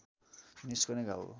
निस्कने घाउ हो